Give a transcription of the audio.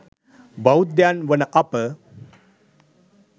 බෞද්ධයන් වන අප